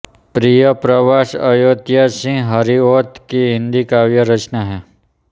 प्रियप्रवास अयोध्यासिंह हरिऔध की हिन्दी काव्य रचना है